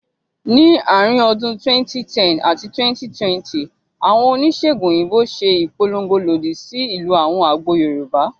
Ní àárín ọdún 2010 àti 2020, àwọn oníṣèègùn òyìnbó ṣe ìpolongo lòdì sí ìlò àwọn àgbo Yorùbá